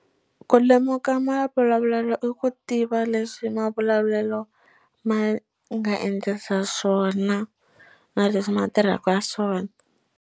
Ku lemuka mavulavulelo i ku tiva leswi mavulavulelo ma nga endlisa swona na leswi ma tirhaka swona.